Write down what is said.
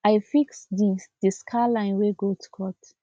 i fix the the scare line wey goats cut